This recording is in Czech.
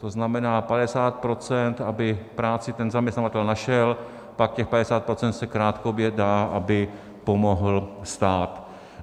To znamená 50 %, aby práci ten zaměstnavatel našel, pak těch 50 % se krátkodobě dá, aby pomohl stát.